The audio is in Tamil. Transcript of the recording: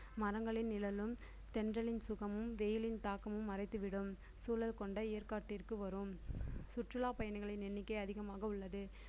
மரங்களின் நிழலும் தென்றலின் சுகமும் வெயிலின் தாக்கமும் மறைத்துவிடும் சூழல் கொண்ட ஏற்காட்டிற்கு வரும் சுற்றுலா பயணிகளின் எண்ணிக்கை அதிகமாக உள்ளது